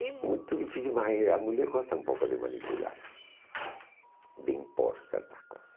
É muito difícil, mas a mulher gosta um pouco de manipular, de impor certas coisas.